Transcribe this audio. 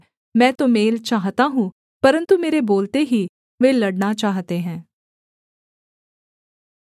मैं तो मेल चाहता हूँ परन्तु मेरे बोलते ही वे लड़ना चाहते हैं